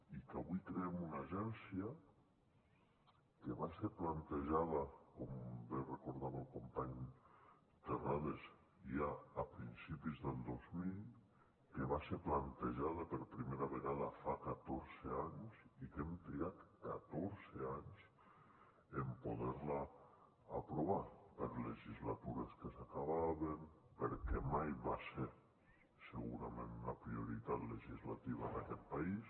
i que avui creem una agència que va ser plantejada com bé recordava el company terrades ja a principis del dos mil que va ser plantejada per primera vegada fa catorze anys i que hem trigat catorze anys en poder la aprovar per legislatures que s’acabaven perquè mai va ser segurament una prioritat legislativa d’aquest país